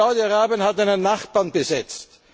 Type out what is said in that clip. Saudi Arabien hat einen Nachbarn besetzt.